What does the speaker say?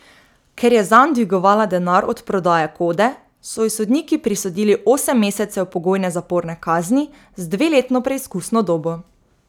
Ker je zanj dvigovala denar od prodaje kode, so ji sodniki prisodili osem mesecev pogojne zaporne kazni z dveletno preizkusno dobo.